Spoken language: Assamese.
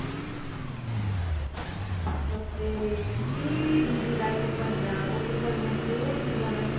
বাপৰে কি busy যায় কোনবাদিনা আকৌ কোনবাদিনা বহুত ধুনীয়া যায়